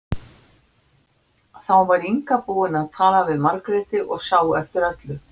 Þá var Inga búin að tala við Margréti og sá eftir öllu.